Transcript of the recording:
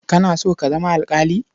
Kana so ka zama alƙali?